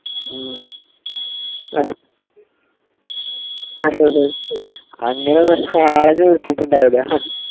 ഉം അഹ് അതെ~ അതെ അങ്ങനാണേ ആരും വെച്ചിട്ടുണ്ടവില്ല.